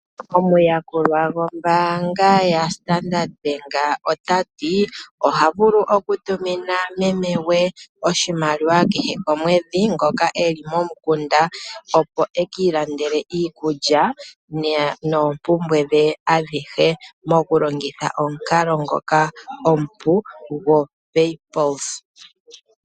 Omuyakulwa gombaanga yaStandard ota ti oha vulu okutumina meme gwe ngoka e li komukunda oshimaliwa kehe omwedhi, opo e ki ilandele iikulya noompumbwe dhe adhihe ta longitha omukalo ngoka omupu goPaypulse.